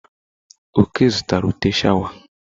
Oke zụtara ụtẹ́ sháwà.